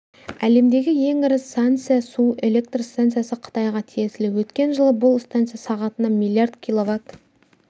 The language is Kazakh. әлемдегі ең ірі санься су электр станциясы қытайға тиесілі өткен жылы бұл станция сағатына миллиард киловатт